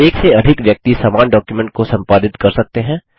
एक से अधिक व्यक्ति समान डॉक्युमेंट को संपादित कर सकते हैं